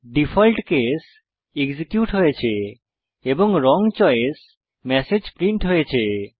default case execute হয়েছে এবং wrong choice message print হয়েছে